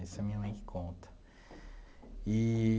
Isso é a minha mãe que conta eee.